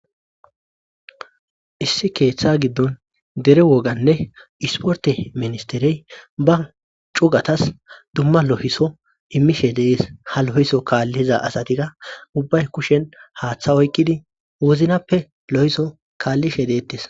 issi keeththa giddon dere woganne isporte ministerey ba cugatas dumma lohiso immishe dees ha lohiso kaalliza asatika ubbay kushen haaththa oykkidi woznappe lo7iso kaallishe deettes